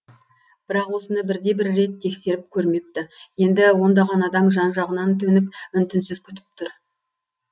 бірақ осыны бірде бір рет тексеріп көрмепті енді ондаған адам жан жағынан төніп үн түнсіз күтіп түр